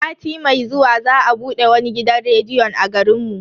Sati mai zuwa za a bude wani gidan rediyon a garin mu.